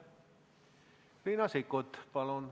Riina Sikkut, palun!